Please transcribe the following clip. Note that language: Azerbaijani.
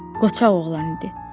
Qoçaq oğlan idi.